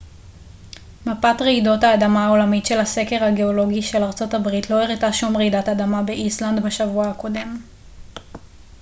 מפת רעידות האדמה העולמית של הסקר הגאולוגי של ארצות הברית לא הראתה שום רעידות אדמה באיסלנד בשבוע הקודם